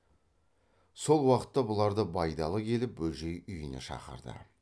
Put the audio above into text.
сол уақытта бұларды байдалы келіп бөжей үйіне шақырды